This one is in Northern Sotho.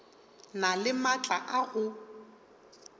na le maatla a go